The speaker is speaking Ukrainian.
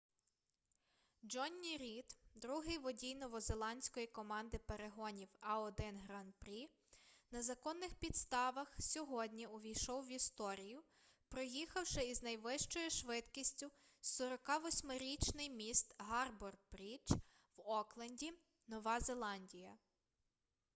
джонні рід другий водій новозеландської команди перегонів a1 гран-прі на законних підставх сьогодні увійшов в історію проїхавши із найвищою швидкістю 48-річний міст гарбор-брідж в окленді нова зеландія